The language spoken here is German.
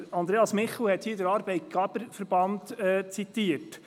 Andreas Michel hat den SAV zitiert.